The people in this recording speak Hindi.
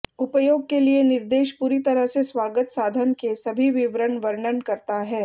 उपयोग के लिए निर्देश पूरी तरह से स्वागत साधन के सभी विवरण वर्णन करता है